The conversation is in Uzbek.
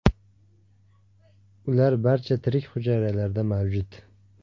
Ular barcha tirik hujayralarda mavjud.